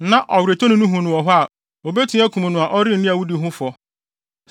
na ɔweretɔni no hu no wɔ hɔ a obetumi akum no a ɔrenni awudi ho fɔ.